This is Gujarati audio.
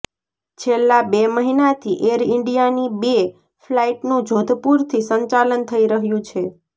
છેલ્લા બે મહિનાથી એર ઈન્ડિયાની બે ફ્લાઈટનું જોધપુરથી સંચાલન થઈ રહ્યું છે